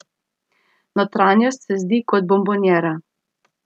Notranjost se zdi kot bombonjera.